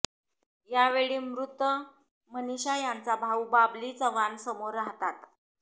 यावेळी मृत मनिषा यांचा भाऊ बाबली चव्हाण समोर राहतात